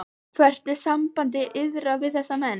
Hvert er samband yðar við þessa menn?